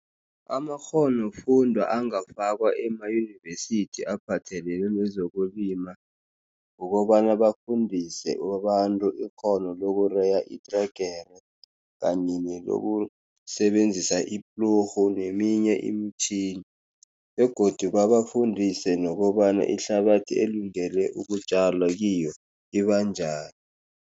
Amakghonofundwa angafakwa emayunivesithi aphathelene nezokulima, kukobana bafundise abantu ikghono lokureya itregera kanye nelokusebenzisa iplurhu neminye imitjhini. Begodu babafundise nokobana ihlabathi elungele ukutjalwa kiyo, iba njani.